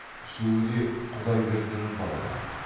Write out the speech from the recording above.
үшеуі де құдайбердінің балалары